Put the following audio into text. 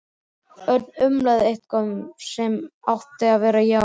Örn umlaði eitthvað sem átti að vera já.